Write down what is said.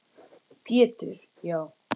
Pétur: Já